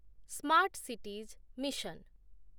smart cities mission